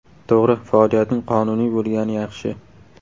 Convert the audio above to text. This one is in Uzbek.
To‘g‘ri, faoliyatning qonuniy bo‘lgani yaxshi.